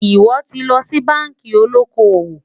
sò tí ló ṣì bánkì olókó owó?